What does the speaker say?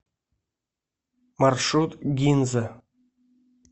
маршрут гинза